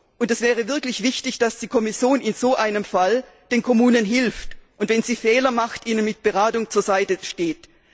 Und es wäre wirklich wichtig, dass die Kommission in so einem Fall den Kommunen hilft und, wenn sie Fehler machen, ihnen mit Beratung zur Seite steht.